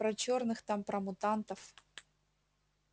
про чёрных там про мутантов